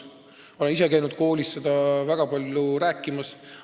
Ma olen ise käinud koolides sellest väga palju rääkimas.